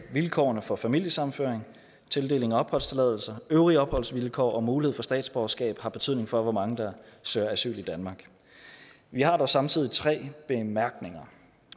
vilkårene for familiesammenføring tildeling af opholdstilladelse og øvrige opholdsvilkår og mulighed for statsborgerskab har betydning for hvor mange der søger asyl i danmark vi har dog samtidig tre bemærkninger